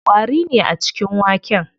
Ƙwari ne a cikin waken.